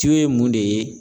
ye mun de ye.